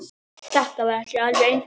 Þetta var ekki alveg einfalt